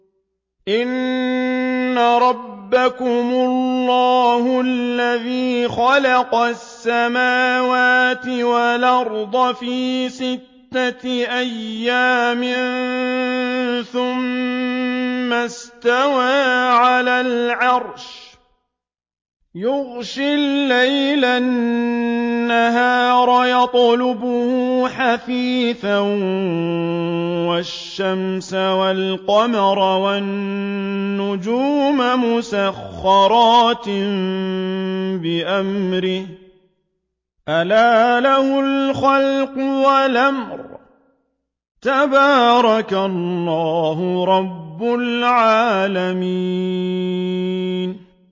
إِنَّ رَبَّكُمُ اللَّهُ الَّذِي خَلَقَ السَّمَاوَاتِ وَالْأَرْضَ فِي سِتَّةِ أَيَّامٍ ثُمَّ اسْتَوَىٰ عَلَى الْعَرْشِ يُغْشِي اللَّيْلَ النَّهَارَ يَطْلُبُهُ حَثِيثًا وَالشَّمْسَ وَالْقَمَرَ وَالنُّجُومَ مُسَخَّرَاتٍ بِأَمْرِهِ ۗ أَلَا لَهُ الْخَلْقُ وَالْأَمْرُ ۗ تَبَارَكَ اللَّهُ رَبُّ الْعَالَمِينَ